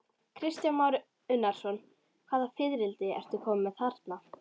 Kristján Már Unnarsson: Hvaða fiðrildi ertu kominn með þarna?